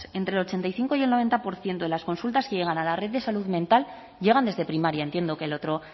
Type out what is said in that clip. entre el ochenta y cinco y el noventa por ciento de las consultas que llegan a la red de salud mental llegan desde primaria entiendo que el otro